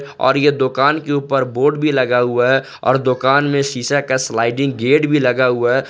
और ये दुकान के ऊपर बोर्ड भी लगा हुआ है और दुकान में शीशा का स्लाइडिंग गेट भी लगा हुआ है।